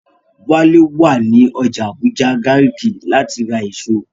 Wálé wà ní ọjà Àbújá Gàrìkí láti ra èso